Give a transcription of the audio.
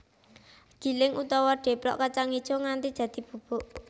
Giling utawa deplok kacang ijo nganti dadi bubuk